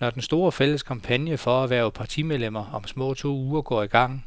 Når den store, fælles kampagne for at hverve partimedlemmer om små to uger går i gang,